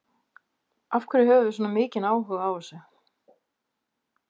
Af hverju höfum við svona mikinn áhuga á þessu?